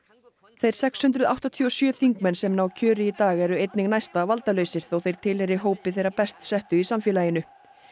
þeir sex hundruð áttatíu og sjö þingmenn sem ná kjöri í dag eru einnig næsta valdalausir þó þeir tilheyri hópi þeirra best settu í samfélaginu